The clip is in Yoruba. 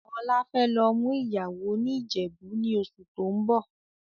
Ọlá fẹ́ lọ mú ìyàwó ni Ìjẹ̀bú ni oṣù tóun bọ̀.